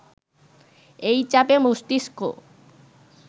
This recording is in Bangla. এই চাপে মস্তিস্ক